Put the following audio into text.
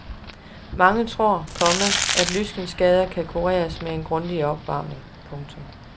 Mange tror, komma at lyskenskader kan kureres med en grundig opvarmning. punktum